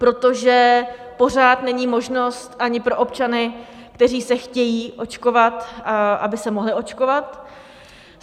Protože pořád není možnost ani pro občany, kteří se chtějí očkovat, aby se mohli očkovat.